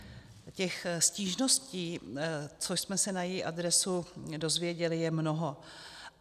Těch stížností, co jsme se na její adresu dozvěděli, je mnoho.